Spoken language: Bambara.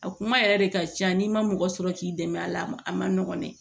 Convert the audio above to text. A kuma yɛrɛ de ka ca n'i ma mɔgɔ sɔrɔ k'i dɛmɛ a la a ma a ma nɔgɔn dɛ